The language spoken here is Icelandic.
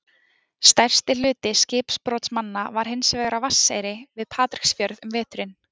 stærsti hluti skipbrotsmanna var hins vegar á vatneyri við patreksfjörð um veturinn